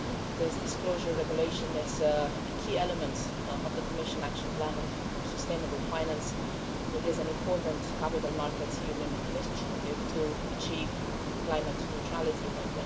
This disclosure regulation is a key element of the Commission Action Plan on sustainable finance and it is an important capital markets union initiative to achieve climate neutrality by